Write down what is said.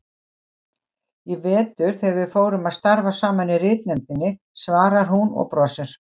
Í vetur þegar við fórum að starfa saman í ritnefndinni, svarar hún og brosir.